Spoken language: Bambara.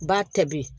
Ba tɛ